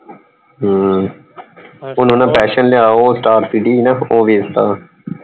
ਹਮ ਉਹਨਾਂ ਨੇ ਪੈਸ਼ਨ ਲਿਆ ਉਹ star city ਸੀ ਨਾ ਉਹ ਵੇਚ ਦਿੱਤਾ।